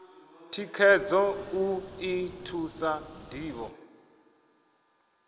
thikhedzo u ḓi thusa ṋdivho